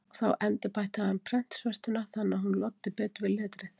Þá endurbætti hann prentsvertuna þannig að hún loddi betur við letrið.